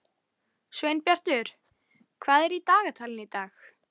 Hreinsið sveppina og skerið í sneiðar.